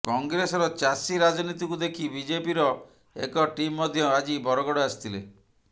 କଂଗ୍ରେସର ଚାଷୀ ରାଜନୀତିକୁ ଦେଖି ବିଜେପିର ଏକ ଟିମ୍ ମଧ୍ୟ ଆଜି ବରଗଡ଼ ଆସିଥିଲେ